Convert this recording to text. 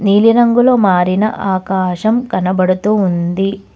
నీలిరంగులో మారిన ఆకాశం కనబడుతూ ఉంది.